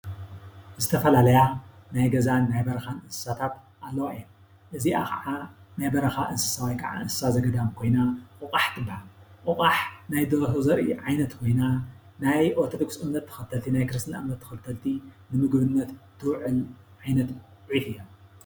ዝተፈላለያ ናይ ገዛን ናይ በረኻን እንስሳታት ኣለዋ እየን፡፡ እዚኣ ኸዓ ናይ በረኻ እንስሳ ወይከዓ እንስሳ ዘገዳም ኮይና ቆቋሕ ትባሃል፡፡ ቆቋሕ ናይ ደርሆ ዘርኢ ኮይና ናይ ኦርቶዶክስ ክስርትና እምነት ተኸተልቲ ንምግብነት ትውዕል ዓይነት ዒፍ እያ፡፡